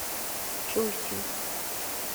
чусин